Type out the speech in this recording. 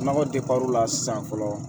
Nɔgɔ depi o la sisan fɔlɔ